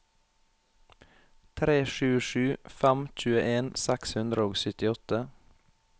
tre sju sju fem tjueen seks hundre og syttiåtte